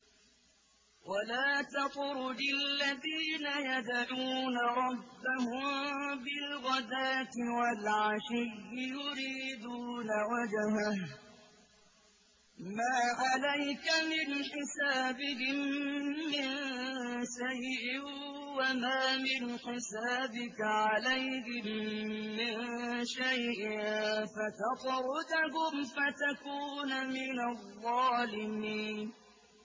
وَلَا تَطْرُدِ الَّذِينَ يَدْعُونَ رَبَّهُم بِالْغَدَاةِ وَالْعَشِيِّ يُرِيدُونَ وَجْهَهُ ۖ مَا عَلَيْكَ مِنْ حِسَابِهِم مِّن شَيْءٍ وَمَا مِنْ حِسَابِكَ عَلَيْهِم مِّن شَيْءٍ فَتَطْرُدَهُمْ فَتَكُونَ مِنَ الظَّالِمِينَ